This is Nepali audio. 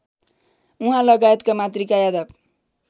उहाँलगायत मातृका यादव